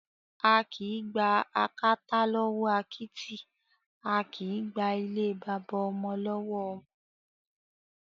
A kìí gba àkàtà lọwọ akítì, a kìí gba ilé baba ọmọ lọwọ ọmọ.